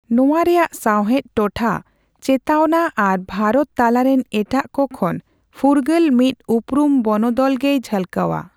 ᱱᱚᱣᱟ ᱨᱮᱭᱟᱜ ᱥᱟᱣᱦᱮᱫ ᱴᱚᱴᱷᱟ ᱪᱮᱛᱟᱣᱱᱟ ᱟᱨ ᱵᱷᱟᱨᱚᱛ ᱛᱟᱞᱟᱨᱮᱱ ᱮᱴᱟᱜ ᱠᱚ ᱠᱷᱚᱱ ᱯᱷᱩᱨᱜᱟᱹᱞ ᱢᱤᱫ ᱩᱯᱨᱩᱢ ᱵᱚᱱᱫᱚᱞ ᱜᱮᱭ ᱡᱷᱟᱞᱠᱟᱣᱟ ᱾